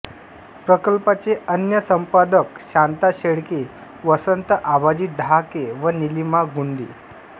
प्रकल्पाचे अन्य संपादक शांता शेळके वसंत आबाजी डहाके व नीलिमा गुंडी